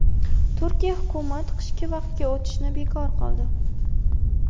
Turkiya hukumat qishki vaqtga o‘tishni bekor qildi.